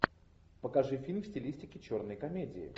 покажи фильм в стилистике черной комедии